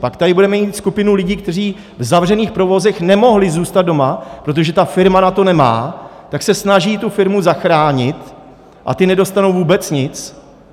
Pak tady budeme mít skupinu lidí, kteří v zavřených provozech nemohli zůstat doma, protože ta firma na to nemá, tak se snaží tu firmu zachránit, a ti nedostanou vůbec nic.